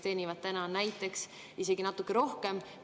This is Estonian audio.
Eestis kehtiv tulumaksumäär on 20% ja äriühingu kasumi tulumaksumäär on 20%.